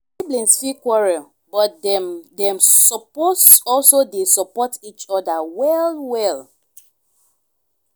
siblings fit quarrel but dem dem suppose also dey support each other well well.